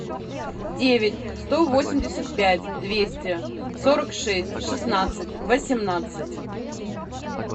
девять сто восемьдесят пять двести сорок шесть шестнадцать восемнадцать